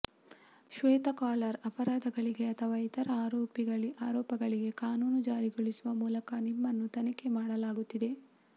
ಶ್ವೇತ collar ಅಪರಾಧಗಳಿಗೆ ಅಥವಾ ಇತರ ಆರೋಪಗಳಿಗೆ ಕಾನೂನು ಜಾರಿಗೊಳಿಸುವ ಮೂಲಕ ನಿಮ್ಮನ್ನು ತನಿಖೆ ಮಾಡಲಾಗುತ್ತಿದೆ